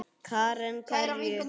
Karen: Hverju?